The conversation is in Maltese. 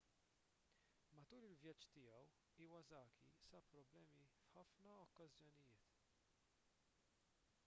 matul il-vjaġġ tiegħu iwasaki sab problemi f'ħafna okkażjonijiet